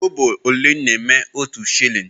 Kobo ole na-eme otu shilling?